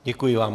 Děkuji vám.